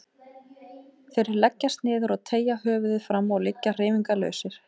Þeir leggjast niður og teygja höfuðið fram og liggja hreyfingarlausir.